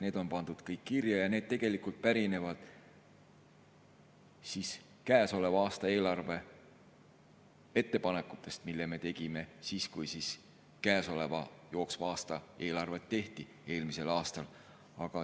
Need on kõik pandud kirja ja need pärinevad käesoleva aasta eelarve ettepanekutest, mis me tegime siis, kui jooksva aasta eelarvet tehti eelmisel aastal.